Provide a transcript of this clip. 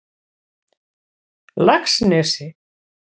Laxnesi